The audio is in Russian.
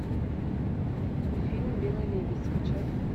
фильм белый лебедь скачай